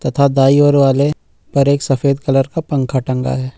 तथा दाएं और वाले पर एक सफेद कलर का पंखा टंगा है।